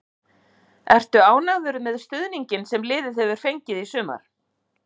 Ertu ánægður með stuðninginn sem liðið hefur fengið í sumar?